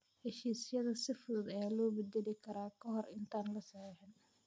Heshiisyada si fudud ayaa loo beddeli karaa ka hor intaan la saxiixin.